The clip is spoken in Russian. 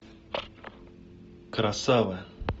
красава